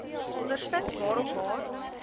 ondervind waarop haar